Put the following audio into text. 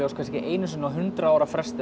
kannski einu sinni á hundrað ára fresti